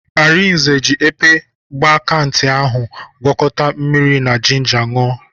Arinze ji epe mgbakantị ahụ gwakọta mmiri na jinja ṅụọ.